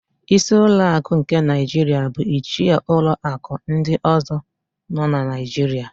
Ísí ụlọakụ nke Naịjiria bu ichie ụlọakụ ndị ọ̀zọ́ nọ na Naịjiria.